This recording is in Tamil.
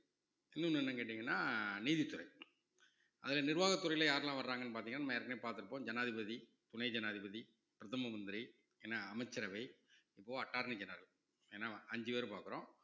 இன்னொன்னு என்னன்னு கேட்டீங்கன்னா நீதித்துறை அதுல நிர்வாகத்துறையில யாரெல்லாம் வர்றாங்கன்னு பார்த்தீங்கன்னா நம்ம ஏற்கனவே பார்த்திருப்போம் ஜனாதிபதி, துணை ஜனாதிபதி, பிரதம மந்திரி, அமைச்சரவை அஞ்சு பேர் பார்க்கிறோம்